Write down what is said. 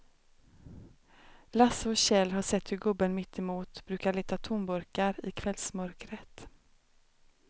Lasse och Kjell har sett hur gubben mittemot brukar leta tomburkar i kvällsmörkret.